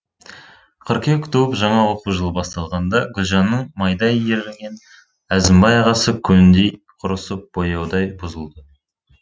қыркүйек туып жаңа оқу жылы басталғанда гүлжанның майдай еріген әзімбай ағасы көндей құрысып бояудай бұзылды